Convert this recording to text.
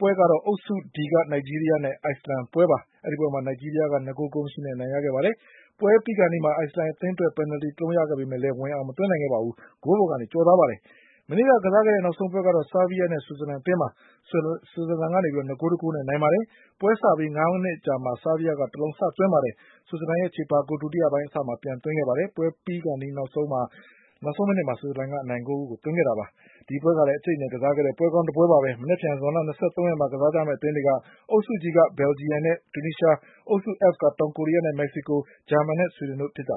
ပွဲကတော့ အုပ်စု D က နိုင်ဂျီးရီးယားနဲ့ အိုက်စလန်ပွဲပါ။ အဲဒီပွဲမှာ နိုင်ဂျီးရီးယားက ၂ ဂိုး ဂိုးမရှိနဲ့ အနိုင်ရခဲ့ပါတယ်။ ပွဲပြီးခါနီးမှာ အိုက်စလန် အသင်းအတွက် ပင်နလ်တီ တလုံးရခဲ့ပေမဲ့လည်း ဝင် အောင် မသွင်းနိုင်ခဲ့ပါဘူး။ ဂိုးပေါ်ကကျော်သွားခဲ့ပါတယ်။ မနေ့က ကစားတဲ့နောက်ဆုံးပွဲကတော့ ဆားဗီးယားနဲ့ ဆွစ်ဇာလန်အသင်းပါ။ ဆွစ်ဇာလန်က ၂ ဂိုး ၁ ဂိုးနဲ့ နိုင်ခဲ့ပါတယ်။ ပွဲစပြီး ငါးမိနစ်အကြာမှာပဲ ဆားဗီးယားက တလုံး စသွင်းခဲ့ပါတယ်။ ဆွစ်ဇာလန်အသင်းက ချေပဂိုးကို ဒုတိယပိုင်းအစမှာ ပြန်သွင်း နိုင်ခဲ့ပါတယ်။ ပွဲပြီးခါနီးနောက်ဆုံးမိနစ်မှာ ဆွစ်ဇာလန်က အနိုင်ဂိုးကို သွင်းနိုင်ခဲ့ပါတယ်။ ဒီပွဲကလည်း အကြိတ်အနယ်က စားခဲ့ကြတဲ့ ပွဲပါပဲ။ မနက်ဖြန်ဇွန်လ ၂၃ ရက်မှာ ကစားကြမယ့်အသင်းတွေက အုပ်စု G က ဘလ်ဂျီယန်နဲ့ တူနီးရှား၊ အုပ်စု F က တောင်ကိုရီးယားနဲ့ မက္ကစီကို၊ ဂျာမနီနဲ့ ဆွီဒင်တို့ဖြစ်ပါ